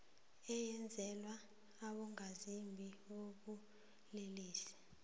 eyenzelwa abongazimbi bobulelesi